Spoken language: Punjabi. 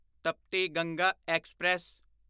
ਤਪਤੀ ਗੰਗਾ ਐਕਸਪ੍ਰੈਸ